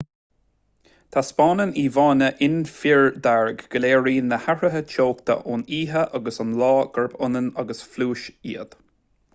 taispeánann íomhánna infridhearg go léiríonn na hathruithe teochta ón oíche agus ón lá gurb ionann agus phluais iad